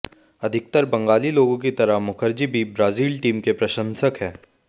अधिकतर बंगाली लोगों की तरह मुखर्जी भी ब्राजील टीम के प्रशंसक हैं